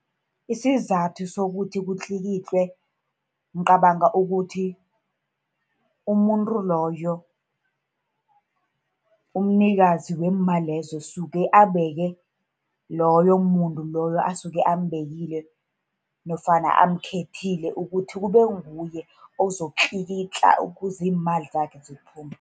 Isizathu sokuthi kutlikitlwe ngicabanga ukuthi umuntu loyo, umnikazi wemali lezo usuke abeke loyo muntu loyo asuke ambekile, nofana amkhethile ukuthi kube nguye ozokutlikitla, ukuze iimali zakhe ziphume.